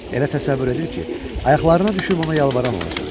Elə təsəvvür edir ki, ayaqlarına düşüb onu yalvaran olacaq.